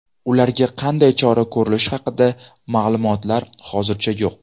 Ularga qanday chora ko‘rilishi haqida ma’lumotlar hozircha yo‘q.